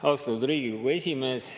Austatud Riigikogu esimees!